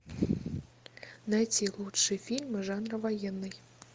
найти лучшие фильмы жанра военный